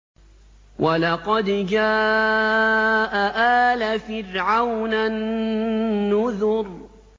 وَلَقَدْ جَاءَ آلَ فِرْعَوْنَ النُّذُرُ